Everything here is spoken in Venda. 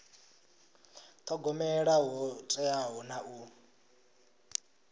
thogomela ho teaho na u